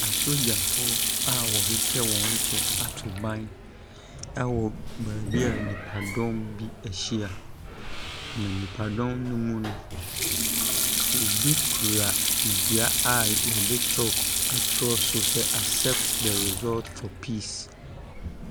Asogyafo a wɔhyehyɛ wɔn kyɛ ato ban ɛwɔ bebia nipa dɔm bi ehyia. Na nipa dɔm ne mu no, obi kura edua a yɛde kyɔlk atweroso sɛ asɛpt dɛ resɔlt fɔ piis.